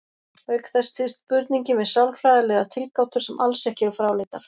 Auk þess styðst spurningin við sálfræðilegar tilgátur sem alls ekki eru fráleitar.